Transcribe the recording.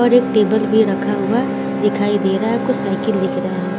और एक टेबल भी रखा हुआ दिखाई दे रहा हे कुछ साइकिल दिख रहे हैं।